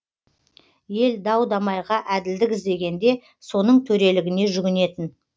ел дау дамайға әділдік іздегенде соның төрелігіне жүгінетін